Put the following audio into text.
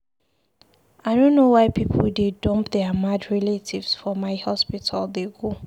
I no know why people dey dump their mad relatives for my hospital dey go